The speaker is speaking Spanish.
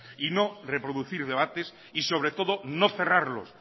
y no reproducir debates y sobre todo no cerrarlos